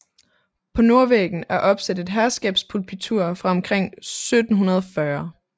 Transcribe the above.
På nordvæggen er opsat et herskabspulpitur fra omkring 1740